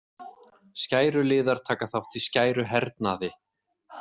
Skæruliðar taka þátt í skæruhernaði.